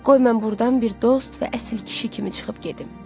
Qoy mən burdan bir dost və əsil kişi kimi çıxıb gedim.